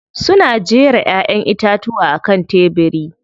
Suna jera Ƴaƴan itatuwa a kan tebiri.